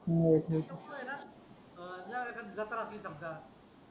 हे सोपं ये ना एखादी जत्रा असेल समजा